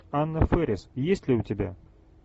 анна фэрис есть ли у тебя